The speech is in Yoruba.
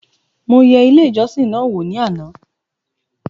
Mo yẹ ilé ìjọsìn náà wò ní àná